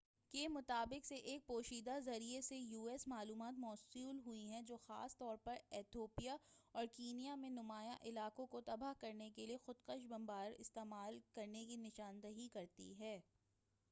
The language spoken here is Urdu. u.s. کے مطابق اسے ایک پوشیدہ ذریعے سے معلومات موصول ہوئی ہیں جو خاص طور پر ایتھوپیا اور کینیا میں نمایاں علاقوں کو تباہ کرنے کے لیے خودکش بمباروں کو استعمال کرنے کی نشاندہی کرتی ہیں